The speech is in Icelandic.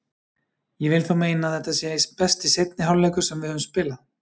Ég vil þó meina að þetta sé besti seinni hálfleikur sem við höfum spilað.